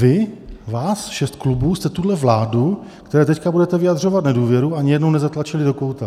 Vy, vás šest klubů, jste tuhle vládu, které teď budete vyjadřovat nedůvěru, ani jednou nezatlačili do kouta.